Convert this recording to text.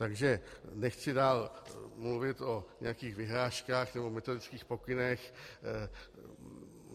Takže nechci dál mluvit o nějakých vyhláškách nebo metodických pokynech.